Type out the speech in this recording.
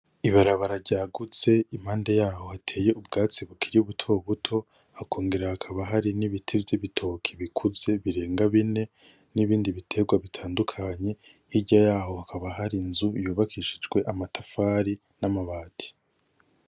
Ibarabara ryagutse impande yaho hateye ubwatsi bukiri buto buto hakongera hakaba hari nibiti vyibitoke bikuze birenga bine nibindi biterwa bitandukanye hirya yaho hakaba hari inzu yubakishijwe amatafari n,amabati .